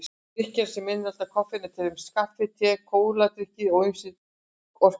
Drykkir sem innihalda koffein eru til dæmis kaffi, te, kóladrykkir og ýmsir orkudrykkir.